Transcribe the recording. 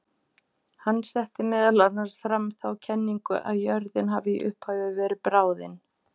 Hann setti meðal annars fram þá kenningu að jörðin hafi í upphafi verið bráðin.